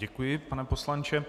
Děkuji, pane poslanče.